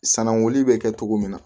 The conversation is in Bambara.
Sananguli bɛ kɛ cogo min na